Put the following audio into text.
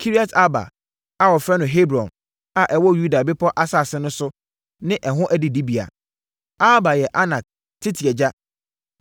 Kiriat-Arba a (wɔfrɛ no Hebron), a ɛwɔ Yuda bepɔ asase so ne ɛho adidibea. (Arba yɛ Anak tete agya.)